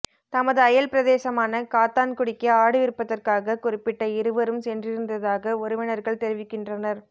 தமது அயல் பிரதேசமான காத்தான்குடிக்கு ஆடு விற்பதற்காக குறிப்பிட்ட இருவரும் சென்றிருந்ததாக உறவினர்கள் தெரிவிக்கின்றனர்